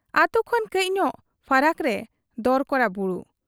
ᱟᱹᱛᱩ ᱠᱷᱚᱱ ᱠᱟᱹᱡ ᱧᱚᱜ ᱯᱷᱟᱨᱟᱠ ᱨᱮ ᱫᱚᱨᱠᱚᱲᱟ ᱵᱩᱨᱩ ᱾